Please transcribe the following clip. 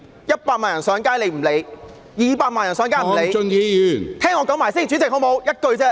一百萬人上街，她不理；二百萬人上街，她也不理......